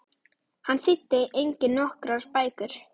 Hann þýddi einnig nokkrar bækur.